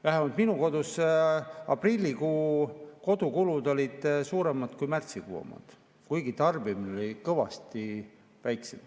Vähemalt minu kodus aprillikuu kodukulud olid suuremad kui märtsikuu omad, kuigi tarbimine oli kõvasti väiksem.